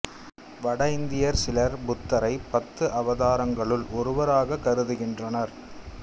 வட இந்தியர் சிலர் புத்தரை பத்து அவதாரங்களுள் ஒருவராக கருதுகின்றனர்